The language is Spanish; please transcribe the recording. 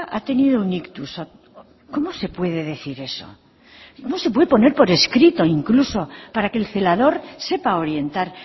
ha tenido un ictus cómo se puede decir eso cómo se puede poner por escrito incluso para que le celador sepa orientar